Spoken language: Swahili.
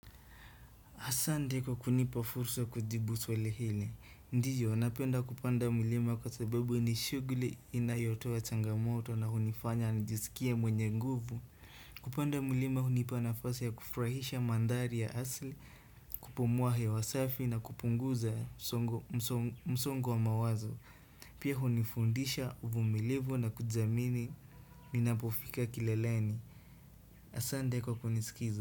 Asante kwa kunipa fursa ya kujibu swali hili. Ndiyo, napenda kupanda mlima kwa sababu ni shughuli inayotoa changamoto na hunifanya nijisikie mwenye nguvu. Kupanda mulima hunipa nafasi ya kufurahisha mandhari ya asili, kupumua hewa safi na kupunguza msongo wa mawazo. Pia hunifundisha uvumilivu na kujiamini ninapofika kileleni. Asante kwa kuniskiza.